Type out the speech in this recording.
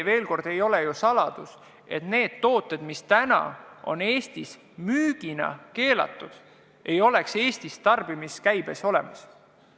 Veel kord: ei ole ju saladus, et neid tooteid, mida Eestis müüa ei tohi, pole meil tarbimiskäibes olemas.